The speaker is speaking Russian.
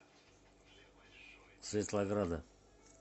светлограда